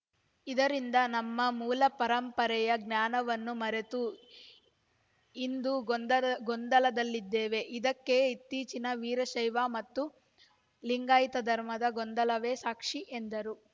ಇದರಿಂದ ನಮ್ಮ ಮೂಲ ಪರಂಪರೆಯ ಜ್ಞಾನವನ್ನು ಮರೆತು ಇಂದು ಗೊಂದಲ್ ಗೊಂದಲದಲ್ಲಿದ್ದೇವೆ ಇದಕ್ಕೆ ಇತ್ತೀಚಿನ ವೀರಶೈವ ಮತ್ತು ಲಿಂಗಾಯತ ಧರ್ಮದ ಗೊಂದಲವೇ ಸಾಕ್ಷಿ ಎಂದರು